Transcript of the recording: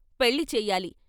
పెళ్ళి చెయ్యాలి.